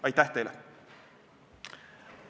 Aitäh teile!